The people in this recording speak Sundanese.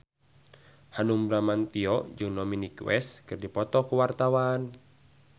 Hanung Bramantyo jeung Dominic West keur dipoto ku wartawan